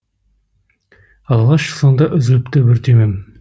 алғаш сонда үзіліпті бір түймем